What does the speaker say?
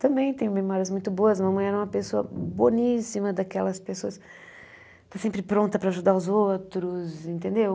Também tenho memórias muito boas, a mamãe era uma pessoa boníssima daquelas pessoas, sempre pronta para ajudar os outros, entendeu?